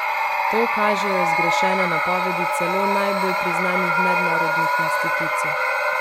To kažejo zgrešene napovedi celo najbolj priznanih mednarodnih institucij.